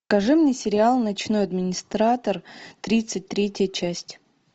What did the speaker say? покажи мне сериал ночной администратор тридцать третья часть